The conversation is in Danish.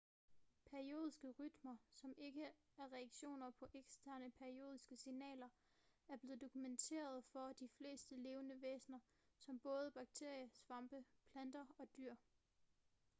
periodiske rytmer som ikke er reaktioner på eksterne periodiske signaler er blevet dokumenteret for de fleste levende væsener som både bakterier svampe planter og dyr